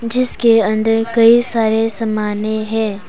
जिसके अंदर कई सारे समाने हैं।